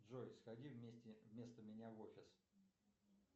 джой сходи вместо меня в офис